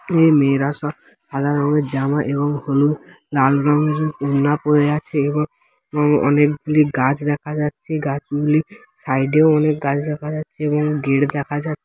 এ মেয়েরা সব সাদা রঙের জামা এবং হলুদ লাল ওড়না পড়ে আছে | এবং-এবং অনেকগুলি গাছ দেখা যাচ্ছে | গাছগুলি সাইডেও অনেক গাছ দেখা যাচ্ছে | এবং গেট দেখা যাচ--